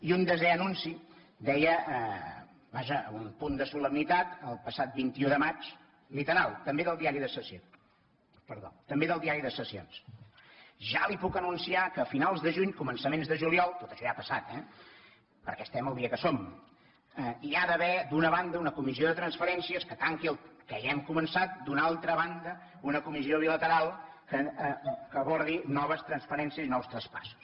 i un desè anunci deia vaja amb un punt de solemnitat el passat vint un de maig literal també del diari de sessions ja li puc anunciar que a finals de juny començaments de juliol tot això ja ha passat eh perquè estem al dia que som hi ha d’haver d’una banda una comissió de transferències que tanqui el que ja hem començat d’una altra banda una comissió bilateral que abordi noves transferències i nous traspassos